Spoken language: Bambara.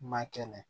Ma kɛnɛ